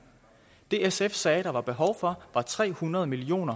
det sf sagde der var behov for var tre hundrede million